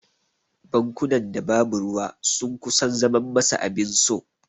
Bankunan da babu ruwa sun kusan zaman masa abin so.